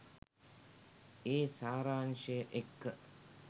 ඒ සාරාංශය එක්ක